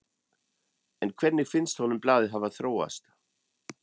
En hvernig finnst honum blaðið hafa þróast?